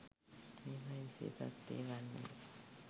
මේවායේ විශේෂත්වය වන්නේ